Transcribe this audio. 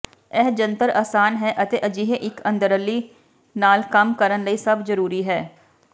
ਇਹ ਜੰਤਰ ਆਸਾਨ ਹੈ ਅਤੇ ਅਜਿਹੇ ਇੱਕ ਅੰਦਰਲੀ ਨਾਲ ਕੰਮ ਕਰਨ ਲਈ ਸਭ ਜ਼ਰੂਰੀ ਹੈ